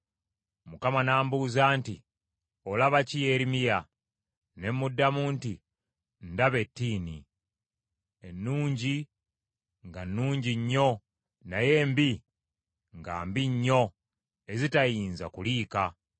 Mukama n’ambuuza nti, “Olaba ki Yeremiya?” Ne muddamu nti, “Ndaba ettiini. Ennungi nga nnungi nnyo naye embi nga mbi nnyo ezitayinza kuliika.”